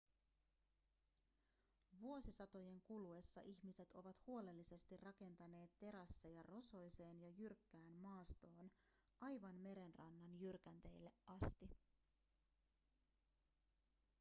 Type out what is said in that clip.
vuosisatojen kuluessa ihmiset ovat huolellisesti rakentaneet terasseja rosoiseen ja jyrkkään maastoon aivan merenrannan jyrkänteille asti